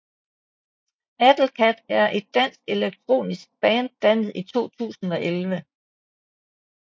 Battlekat er et dansk elektronisk band dannet i 2011